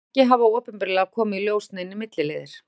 Ekki hafa opinberlega komið í ljós neinir milliliðir.